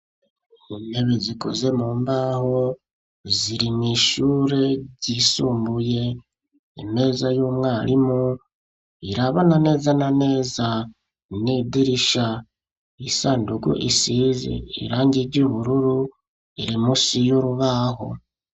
Intebe zikoze mu mbaho, ziri mw'ishure ryisumbuye. Imeza y'umwarimu irabana neza na neza n'idirisha. Isandugu isize irangi ry'ubururu iri musi y'urubaho.